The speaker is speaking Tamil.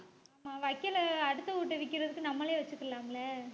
ஆமா வைக்கோலை அடுத்தவிங்ககிட்ட விக்கிறதுக்கு, நம்மளே வச்சுக்கலாம் இல்ல